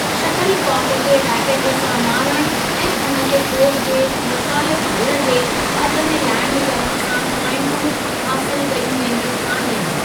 Shuttle Kock खे racket सां मारणु ऐं उन खे कोर्ट जे मुख़ालिफ़ु धुरि जे अध में लैंड करणु सां प्वाइंटूं हासिलु कयूं वेंदियूं आहिनि।